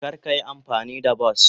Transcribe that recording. Kar ka yi amfani da bas.